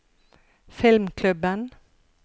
filmklubben